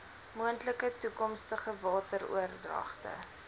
moontlike toekomstige wateroordragte